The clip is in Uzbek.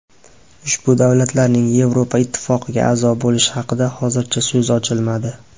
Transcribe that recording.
Ushbu davlatlarning Yevroittifoqqa a’zo bo‘lishi haqida hozircha so‘z ochilmadi.